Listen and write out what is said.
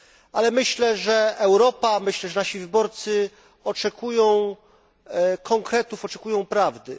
Ale myślę, że Europa, że nasi wyborcy oczekują konkretów, oczekują prawdy.